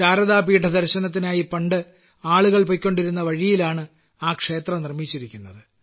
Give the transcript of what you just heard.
ശാരദാപീഠ ദർശനത്തിനായി പണ്ട് ആളുകൾ പോയിക്കൊണ്ടിരുന്ന വഴിയിലാണ് ആ ക്ഷേത്രം നിർമ്മിച്ചിരിക്കുന്നത്